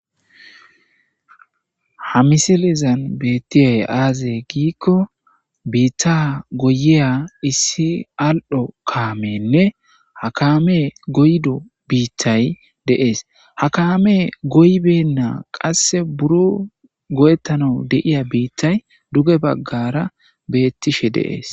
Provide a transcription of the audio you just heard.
Ha misilezan besishe dizays aze gikon bita bita goyiya issi al'o kameyinne ha kaamey goyido bittay de'es, ha kamey goyibwyina bitay qase duge bagara betishe de'es.